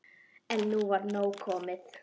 En nú var komið nóg.